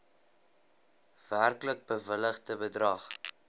werklik bewilligde bedrag